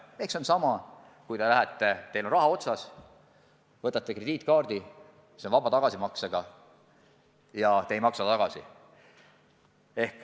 See on sama olukord, kui teil on raha otsas, te lähete ja võtate krediitkaardi, see on vaba tagasimaksega ja te ei maksa tagasi.